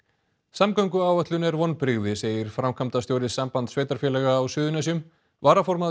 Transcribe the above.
samgönguáætlun er vonbrigði segir framkvæmdastjóri Sambands sveitarfélaga á Suðurnesjum varaformaður